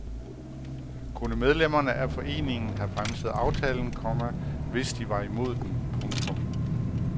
Kunne medlemmerne af foreningen have bremset aftalen, komma hvis de var imod den. punktum